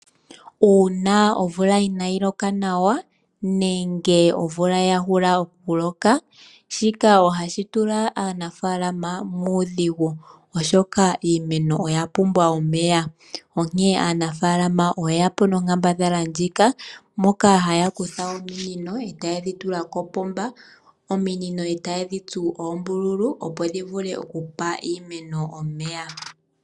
Uuna omvula inaa yi loka nawa, nenge omvula ya hula okuloka, shika ohashi tula aanafaalama muudhigu. Oshoka iimeno oya pumbwa omeya. Onkene aanafaalama oye ya po nonkambadhala ndjika mokahaya kutha ominino etaye dhitula kopomba, ominino etaye dhitsu oombululu opo dhi vule okupa iimeno omeya.